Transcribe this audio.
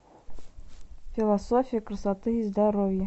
философия красоты и здоровья